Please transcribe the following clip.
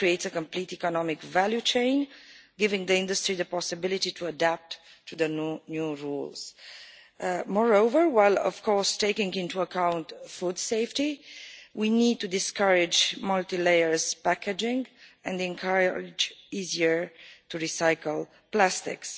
That creates a complete economic value chain, giving the industry the possibility to adapt to the new rules. Moreover, while taking into account food safety, we need to discourage multi layer packaging and encourage easier to recycle plastics.